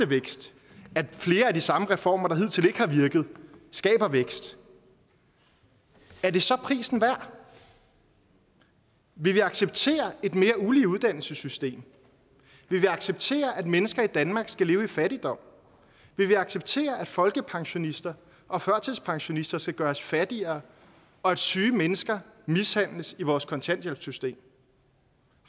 vækst at flere af de samme reformer som hidtil ikke har virket skaber vækst er det så prisen værd vil vi acceptere et mere ulige uddannelsessystem vil vi acceptere at mennesker i danmark skal leve i fattigdom vil vi acceptere at folkepensionister og førtidspensionister skal gøres fattigere og at syge mennesker mishandles i vores kontanthjælpssystem